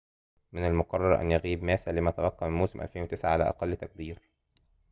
من المُقرّر أن يغيب ماسا لما تبقى من موسم 2009 على أقل تقدير